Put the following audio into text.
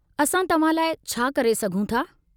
असां तव्हां लाइ छा करे सघूं था?